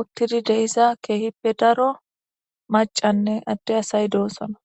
utiza kehipe daro macanee ade asay do'sona